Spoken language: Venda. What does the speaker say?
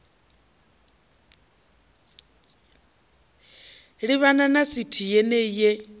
livhana na sithi yenei ye